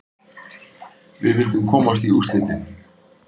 Við vildum komast í úrslitin.